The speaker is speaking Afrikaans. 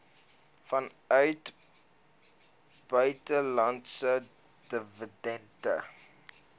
vanuit buitelandse dividende